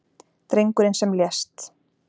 Drengurinn sem lést